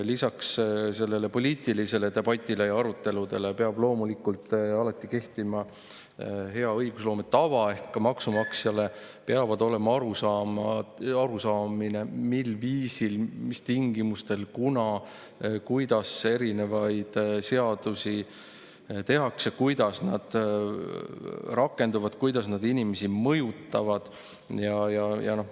Lisaks sellele poliitilisele debatile ja aruteludele peab loomulikult alati kehtima hea õigusloome tava ehk maksumaksjal peab olema arusaamine, mil viisil, mis tingimustel, kuna ja kuidas erinevaid seadusi tehakse, kuidas need rakenduvad ja kuidas need inimesi mõjutavad.